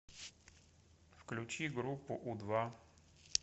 включи группу у два